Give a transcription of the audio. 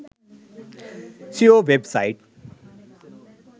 seo web site